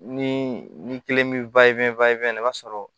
Ni ni kelen mi na i b'a sɔrɔ